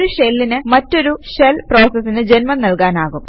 ഒരു ഷെല്ലിന് മറ്റൊരു ഷെല് പ്രോസസിന് ജന്മം നൽകാനാകും